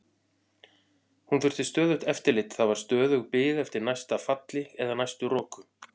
Hún þurfti stöðugt eftirlit, það var stöðug bið eftir næsta falli eða næstu roku.